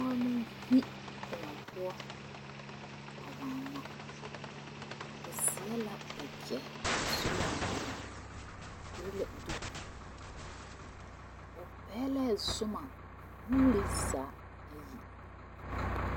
Pɔge la yi kõɔ poɔ a waana o seɛ la wagyɛ o su la kparoo a piri la duku o pɛglɛɛ Zoma o nuuri zaa ayi.